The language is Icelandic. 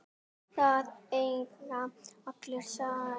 Það eiga allir slæma daga.